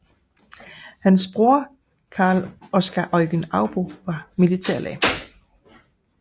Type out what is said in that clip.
Hans broder Carl Oscar Eugen Arbo var militærlæge